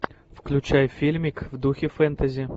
включай фильмик в духе фэнтези